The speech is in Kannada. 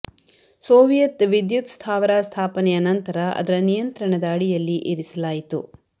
ಸೋವಿಯತ್ ವಿದ್ಯುತ್ ಸ್ಥಾವರ ಸ್ಥಾಪನೆಯ ನಂತರ ಅದರ ನಿಯಂತ್ರಣದ ಅಡಿಯಲ್ಲಿ ಇರಿಸಲಾಯಿತು